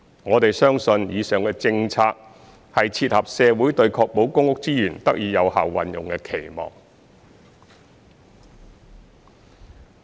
我們相信以上的政策，是切合社會對確保公屋資源得以有效運用的期望。